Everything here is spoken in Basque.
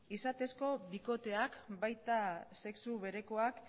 izatezko bikoteak baita sexu berekoak